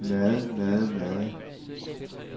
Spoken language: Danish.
meget meget meget